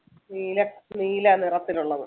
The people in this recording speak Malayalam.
നീല നീല നിറത്തിലുള്ളത്.